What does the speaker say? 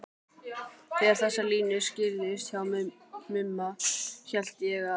Þegar þessar línur skýrðust hjá Mumma hélt ég að